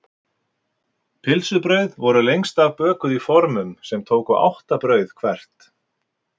Pylsubrauð voru lengst af bökuð í formum sem tóku átta brauð hvert.